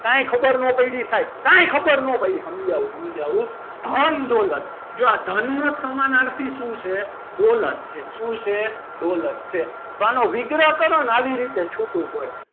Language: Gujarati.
કાંઈ ખબર ન પડી સાહેબ કાંઈ ખબર ના પડી સમજાવો સમજાવો. ધનદોલત જો આ ધન નો સમાનાર્થી શું છે દોલત છે શું છે દોલત છે તો આનો વિગ્રહ કરો આવી રીતે છૂટું પડે.